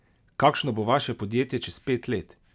Kakšno bo vaše podjetje čez pet let?